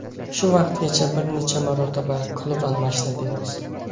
Shu vaqtgacha bir necha marotaba klub almashtirdingiz.